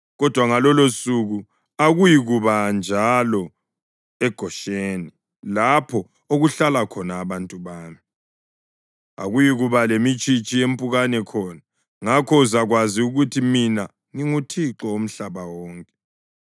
Kodwa ngalolosuku akuyikuba njalo eGosheni lapho okuhlala khona abantu bami. Akuyikuba lemitshitshi yempukane khona. Ngakho uzakwazi ukuthi mina nginguThixo womhlaba wonke.